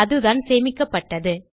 அதுதான் சேமிக்கப்பட்டது